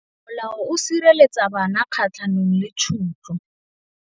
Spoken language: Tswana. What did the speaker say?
Molao o sireletsa bana kgatlhanong le tshotlo.